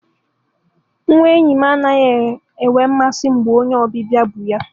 Nwa enyi m anaghị enwe mmasị mgbe onye ọbịbịa bu ya.